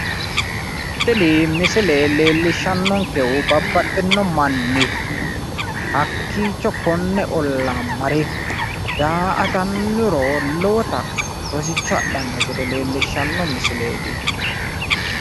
Tini misile leellishannonkehu babbaxino manni hakkiicho konne ollaa mare daa'atannoro lowo rosicho adhannota leellishshanno misileeti.